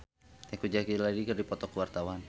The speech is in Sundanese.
Teuku Zacky jeung Lady Gaga keur dipoto ku wartawan